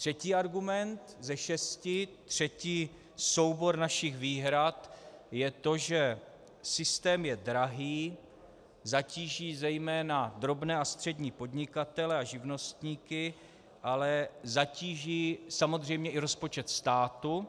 Třetí argument ze šesti, třetí soubor našich výhrad je to, že systém je drahý, zatíží zejména drobné a střední podnikatele a živnostníky, ale zatíží samozřejmě i rozpočet státu